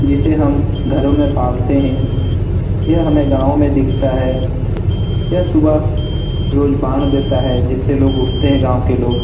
जिसे हम घरों में पालते हैं ये हमें गांव में दिखता है यह सुबह रोज बांग देता है जिससे लोग उठाते हैं गांव के लोग।